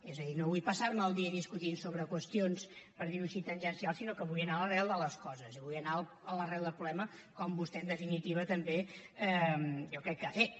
és a dir no vull passar me el dia discutint sobre qüestions per dir ho així tangencials sinó que vull anar a l’arrel de les coses i vull anar a l’arrel del problema com vostè en definitiva també jo crec que ha fet